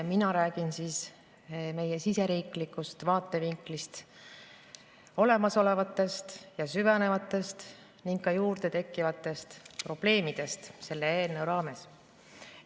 Mina räägin siseriiklikust vaatevinklist olemasolevatest ja süvenevatest ning ka juurde tekkivatest probleemidest selle eelnõu valguses.